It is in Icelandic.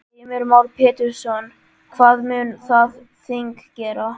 Heimir Már Pétursson: Hvað mun það þing gera?